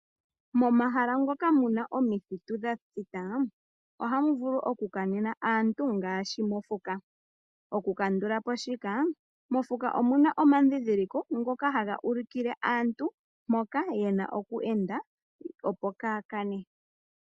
Momahala ngoka mu na omithitu dha thita ohamu vulu okukanena aantu ngaashi mokuti. Okukandula po shika, mokuti omu na omadhindhiliko ngoka haga ulikile aantu mpoka ye na oku enda, opo kaaya kane.